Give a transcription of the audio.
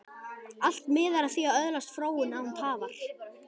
Allt miðar að því að öðlast fróun, án tafar.